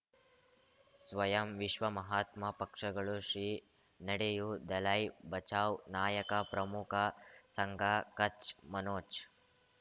ಸ್ವಯಂ ವಿಶ್ವ ಮಹಾತ್ಮ ಪಕ್ಷಗಳು ಶ್ರೀ ನಡೆಯೂ ದಲೈ ಬಚೌ ನಾಯಕ ಪ್ರಮುಖ ಸಂಘ ಕಚ್ ಮನೋಜ್